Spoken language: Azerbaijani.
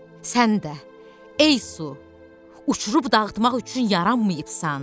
Sən də, ey su, uçurub dağıtmaq üçün yaranmayıbsan.